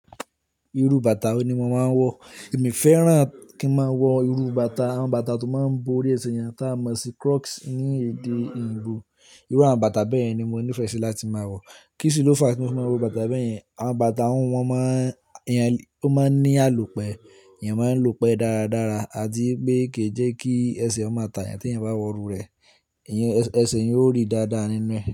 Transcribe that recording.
Irú bàtà wo ni mo máa ń wọ̀? Èmi fẹ́ràn kí n máa wọ irú bàtà, àwọn bàtà tó máa ń bo orí ẹsẹ̀ ènìyàn, tá a mọ̀ sí Crocs ní èdè èyìnbó Irú àwọn bàtà bẹ́ẹ̀ ni mo nífẹ̀ẹ́ sí láti máa wọ̀. Kí sì ló fa tí mo máa wo bàtà bẹ́ẹ̀ yẹn? Àwọn bàtà wọ́n máa ń, ènìyàn ló máa ń ní àlùpẹ̀, ènìyàn máa ń lúpẹ̀ dáradára, àti pé kì í jẹ́ kí ẹsẹ̀ ọmọ tààyà tí èèyàn bá wọ irú rẹ̀, ìyẹn ẹsẹ̀ èèyàn ó rí dáadáa nínú ẹ̀